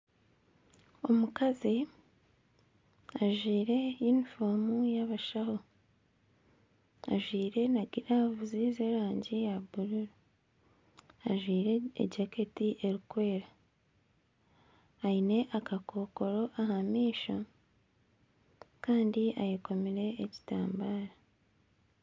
Omukazi ajwaire yunifomu y'abashaho, ajwaire n'agiravuzi z'erangi ya bururu. Ajwaire ejaketi eri kweera, aine akakokoro aha maisho kandi ayekomire ekitambaara.